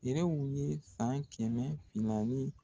Nɛrɛw ye san kɛmɛ flia ni